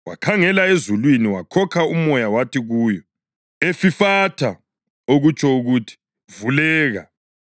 Wakhangela ezulwini wakhokha umoya wathi kuyo, \+wj “Efifatha!”\+wj* (okutsho ukuthi, “Vuleka!”).